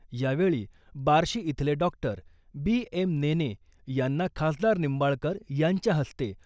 यावेळी बार्शी इथले doctor B. M. Nene यांना खासदार निंबाळकर यांच्या हस्ते